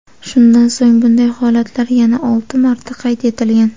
Shundan so‘ng bunday holatlar yana olti marta qayd etilgan.